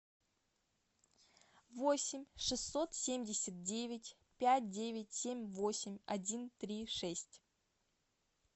восемь шестьсот семьдесят девять пять девять семь восемь один три шесть